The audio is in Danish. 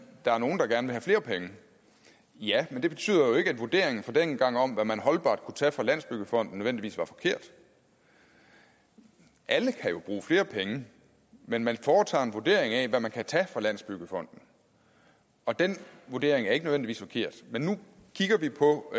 der er nogle der gerne vil have flere penge ja men det betyder jo ikke at vurderingen fra dengang om hvad man holdbart kunne tage fra landsbyggefonden nødvendigvis var forkert alle kan jo bruge flere penge men man foretager en vurdering af hvad man kan tage fra landsbyggefonden og den vurdering er ikke nødvendigvis forkert men nu kigger vi på